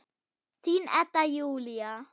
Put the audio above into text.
Þín, Edda Júlía.